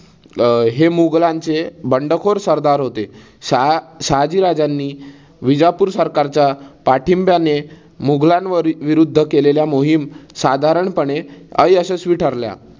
हे मुघलांचे बंडखोर सरदार होते. शहाजी राजांनी विजापूर सरकारच्या पाठींब्याने मुघलानवर विरुद्ध केलेल्या मोहीम साधारणपणे अयशस्वी ठरल्या